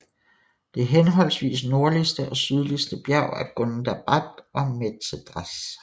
Det henholdsvis nordligste og sydligste bjerg er Gundabad og Methedras